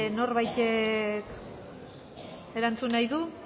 norbaitek erantzun nahi du